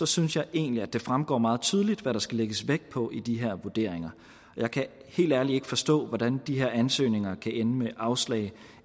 synes jeg egentlig at det fremgår meget tydeligt hvad der skal lægges vægt på i de her vurderinger jeg kan helt ærligt ikke forstå hvordan de her ansøgninger kan ende med afslag